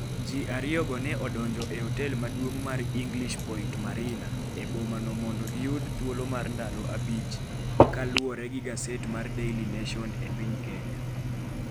Ji ariyogo ne odonjo e otel maduong' mar English Point Marina e boma no mondo giyud thuolo mar ndalo abich kaluwore gi gaset mar Daily Nation e piny Kenya.